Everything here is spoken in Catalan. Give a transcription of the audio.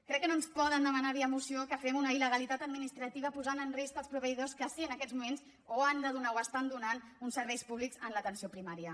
crec que no ens poden demanar via moció que fem una il·legalitat administrativa posant en risc els proveïdors que sí en aquests moments o han de donar o estan donant uns serveis públics en l’atenció primària